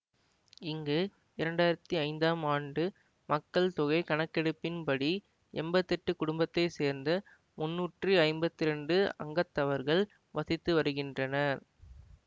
இங்கு இரண்டாயிரத்தி ஐந்தாம் ஆண்டு மக்கள் தொகை கணக்கெடுப்பின்படி எம்பத்தி எட்டு குடும்பத்தை சேர்ந்த முன்னூற்றி ஐம்பத்தி இரண்டு அங்கத்தவர்கள் வசித்து வருகின்றனர்